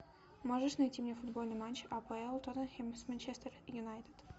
можешь найти мне футбольный матч апл тоттенхэм с манчестер юнайтед